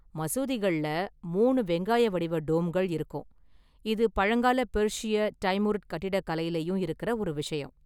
மசூதிகள்ல மூணு வெங்காய வடிவ டோம்கள் இருக்கும், இது பழங்கால பெர்ஷிய, டைமுரிட் கட்டிடக்கலையிலயும் இருக்குற ஒரு விஷயம்.